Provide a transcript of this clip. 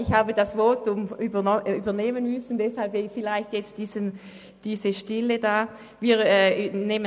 Ich habe das Votum übernehmen müssen, deshalb ist diese Stille entstanden.